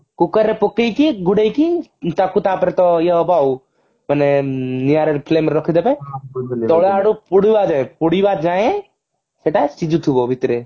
cooker ରେ ପକେଇ କି ଘୋଡେଇକି ତାକୁ ତାପରେ ତ ଇଏ ହେବ ଆଉ ମାନେ ନିଆଁରେ flame ରେ ରଖି ଦେବେ ସେଟା ସେଠୁ ପୁଡିବା ଯାଏ ପୁଡିବା ଯାଏଁ ସେଟା ସିଝୁଥିବ ଭିତରେ